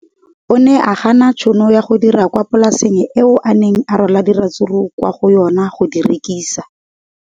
O ne a gana tšhono ya go dira kwa polaseng eo a neng rwala diratsuru kwa go yona go di rekisa.